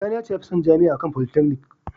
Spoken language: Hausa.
Sani ya ce ya fi son Jami’a a kan polytechnic